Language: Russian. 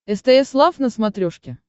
стс лав на смотрешке